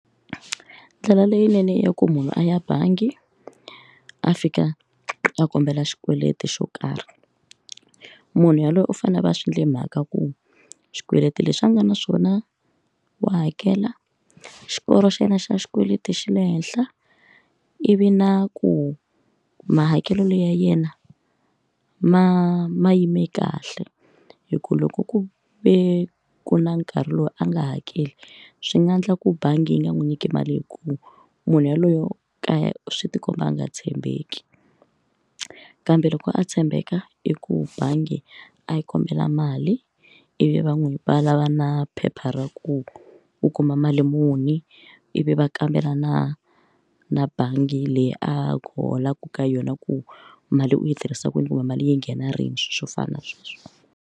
Ndlela leyinene ya ku munhu a ya bangi a fika a kombela xikweleti xo karhi munhu yaloye u fanele a va swi endle mhaka ku xikweleti lexi a nga na xona wa hakela xikoro xa yena xa xikweleti xa le henhla ivi na ku mahakelo ya yena ma ma yime kahle hi ku loko ku ve ku na nkarhi lowu a nga hakeli swi nga endla ku bangi yi nga n'wi nyiki mali hikuva munhu yaloye yo ka ya swi ti komba a nga tshembeki kambe loko a tshembeka i ku bangi a yi kombela mali ivi va n'wi valava na phepha ra ku u kuma mali muni ivi va kambela na na bangi leyi a holaka ka yona ku mali u yi tirhisa kwini kumbe mali yi nghena rini swo fana na sweswo.